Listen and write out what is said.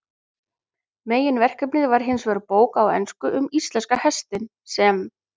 Meginverkefnið var hinsvegar bók á ensku um íslenska hestinn, sem